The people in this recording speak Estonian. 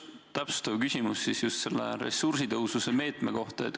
Täpsustav küsimus on ressursitõhususe meetme kohta.